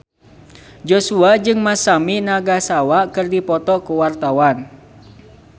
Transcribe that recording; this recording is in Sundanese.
Joshua jeung Masami Nagasawa keur dipoto ku wartawan